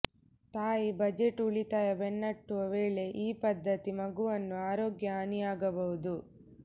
ತಾಯಿ ಬಜೆಟ್ ಉಳಿತಾಯ ಬೆನ್ನಟ್ಟುವ ವೇಳೆ ಈ ಪದ್ಧತಿ ಮಗುವನ್ನು ಆರೋಗ್ಯ ಹಾನಿಯಾಗಬಹುದು